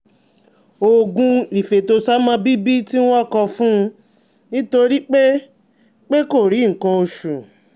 Oògùn ìfètòsọ́mọbíbí tí wọ́n kọ fún un nítorí pé pé kò rí nǹkan oṣù